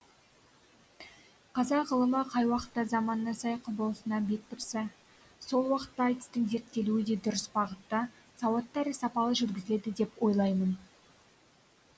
қазақ ғылымы қай уақытта заманына сай құбыласына бет бұрса сол уақытта айтыстың зерттелуі де дұрыс бағытта сауатты әрі сапалы жүргізіледі деп ойлаймын